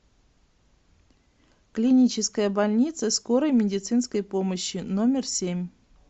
клиническая больница скорой медицинской помощи номер семь